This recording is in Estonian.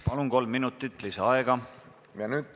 Palun, kolm minutit lisaaega!